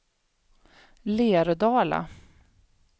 Lerdala